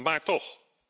Maar toch.